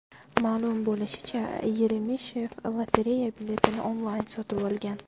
Ma’lum bo‘lishicha, Yeremeshev lotereya biletini onlayn sotib olgan.